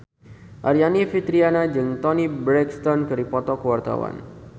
Aryani Fitriana jeung Toni Brexton keur dipoto ku wartawan